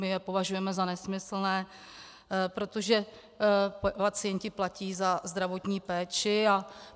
My je považujeme za nesmyslné, protože pacienti platí za zdravotní péči.